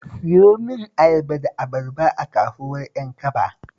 Siyo min ayaba da abarba a kasuwar Ƴankaba